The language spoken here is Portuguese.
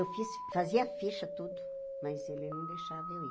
Eu fiz fazia ficha, tudo, mas ele não deixava eu ir.